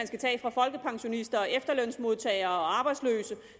skal tages fra folkepensionister og efterlønsmodtagere og arbejdsløse